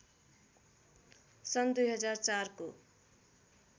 सन् २००४ को